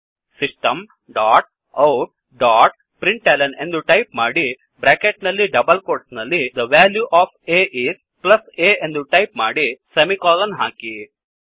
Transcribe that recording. system dot out ಡಾಟ್println ಎಂದು type ಮಾಡಿ ಬ್ರ್ಯಾಕೆಟ್ ನಲ್ಲಿ ಡಬಲ್ ಕೋಟ್ಸ್ ನಲ್ಲಿThe ವ್ಯಾಲ್ಯೂ ಒಎಫ್ a ಇಸ್ ಪ್ಲಸ್a ಎಂದು ಟೈಪ್ ಮಾಡಿ ಸೆಮಿಕೋಲನ್ ಹಾಕಿ